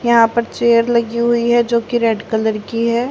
यहां पर चेयर लगी हुई है जो की रेड कलर की हैं।